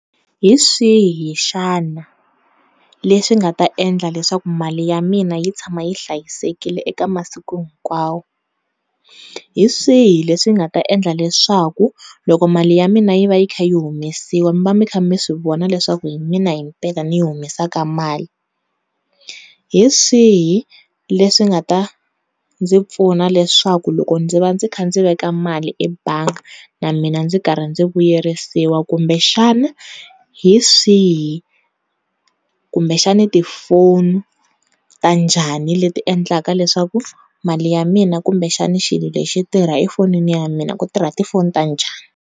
Hi swihi xana, leswi nga ta endla leswaku mali ya mina yi tshama yi hlayisekile eka masiku hinkwawo? Hi swihi leswi nga ta endla leswaku loko mali ya mina yi va yi kha yi humesiwa mi va mikha mi swivona leswaku hi mina hiteka Ni yi humesaka mali? Hi swihi leswi nga ta ndzi pfuna leswaku loko ndzi va ni kha ni veka mali ebangi na mina ndzi karhi ndzi vuyerisiwa kumbexana hi swihi? Kumbexana tifoni ta njhani leti endlaka leswaku mali ya mina kumbexana xilo lexi xi tirha a fonini ya mina ku tirha tifoni ta njhani?